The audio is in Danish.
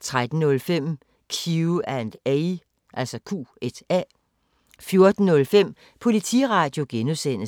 13:05: Q&A 14:05: Politiradio (G)